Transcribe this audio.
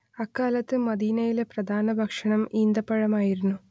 അക്കാലത്തെ മദീനയിലെ പ്രധാന ഭക്ഷണം ഈന്തപഴം ആയിരുന്നു